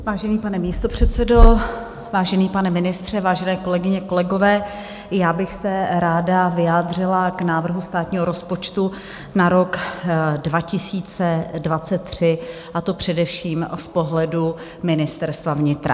Vážený pane místopředsedo, vážený pane ministře, vážené kolegyně, kolegové, já bych se ráda vyjádřila k návrhu státního rozpočtu na rok 2023, a to především z pohledu Ministerstva vnitra.